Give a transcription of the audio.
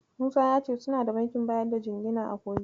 Musa ya ce suna da bankin bayar da jingina a Kogi.